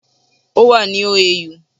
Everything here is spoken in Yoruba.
Ó wà ni OAU